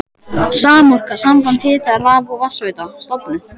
Samorka, samband hita-, raf- og vatnsveitna, stofnuð.